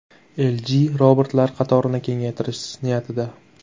LG robotlar qatorini kengaytirish niyatida.